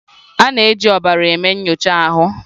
A na-eji ọbara eme nyocha ahụ.